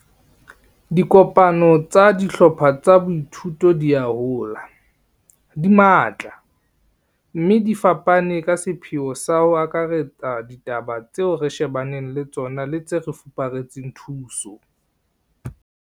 Dikopano tsa dihlopha tsa boithuto di a hola, di matla, mme di fapane ka sepheo sa ho akaretsa ditaba tseo re shebanang le tsona le tse re fupareletseng thuso.